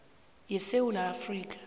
ye sewula afrika